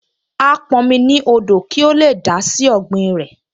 Á pọn omi ní odò kí ó lè dà á sí ọ̀gbìn rẹ̀